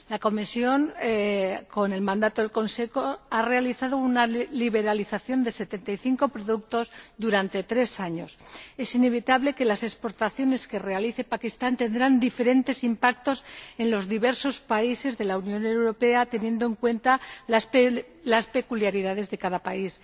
La Comisión, con el mandato del Consejo, ha realizado una liberalización de 75 productos durante tres años. Es indudable que las exportaciones que realice Pakistán tendrán diferentes impactos en los diversos países de la Unión Europea, teniendo en cuenta las peculiaridades de cada país.